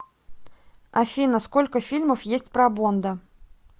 афина сколько фильмов есть про бонда